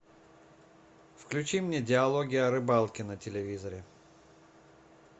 включи мне диалоги о рыбалке на телевизоре